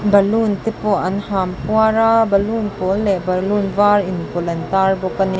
balloon te pawh an ham puar a balloon pawl leh balloon var inpawlh an tar bawk ani.